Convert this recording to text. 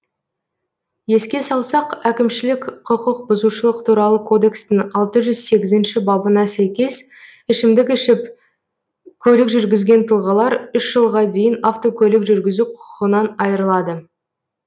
еске салсақ әкімшілік құқық бұзушылық туралы кодекстің алты жүз сегізінші бабына сәйкес ішімдік ішіп көлік жүргізген тұлғалар үш жылға дейін автокөлік жүргізу құқығынан айырылады